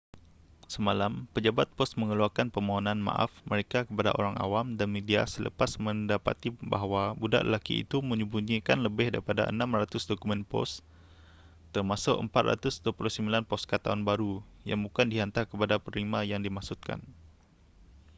semalam pejabat pos mengeluarkan permohonan maaf mereka kepada orang awam dan media selepas mendapati bahawa budak lelaki itu menyembunyikan lebih daripada 600 dokumen pos termasuk 429 poskad tahun baru yang bukan dihantar kepada penerima yang dimaksudkan